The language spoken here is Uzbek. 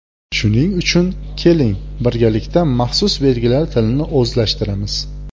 Shuning uchun, keling, birgalikda maxsus belgilar tilini o‘zlashtiramiz.